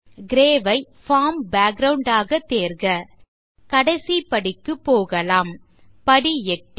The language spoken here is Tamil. கிரே ஐ பார்ம் பேக்கிரவுண்ட் ஆக தேர்க கடைசி படிக்கு போகலாம் படி 8